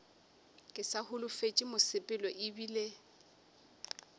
ke sa holofetše mosepelo ebile